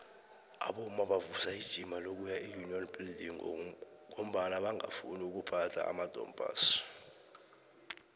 abomma bavusa ijima lokuya eunion buildings ngombana bangafuni ukuphatha amadompass